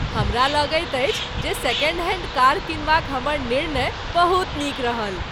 हमरा लगैत अछि जे सेकेंड हैंड कार किनबाक हमर निर्णय बहुत नीक रहल।